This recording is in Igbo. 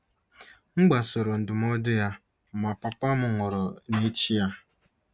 M gbasoro ndụmọdụ ya, ma Papa m nwụrụ n’echi ya.